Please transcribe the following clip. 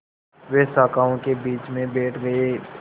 वे शाखाओं के बीच में बैठ गए